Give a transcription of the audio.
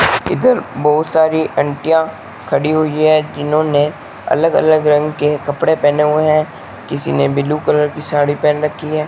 इधर बहोत सारी आंटियां खड़ी हुई है जिन्होंने अलग अलग रंग के कपड़े पहने हुए है किसी ने ब्लू कलर की साड़ी पहन रखी है।